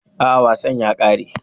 A'a, wasan ya kare.